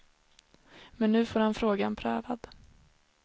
Men nu får han frågan prövad.